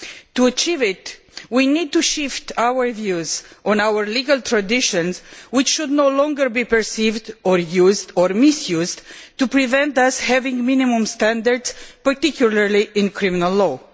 To achieve it, we need to shift our views on our legal traditions, which should no longer be perceived, used or misused to prevent us having minimum standards, particularly in criminal law.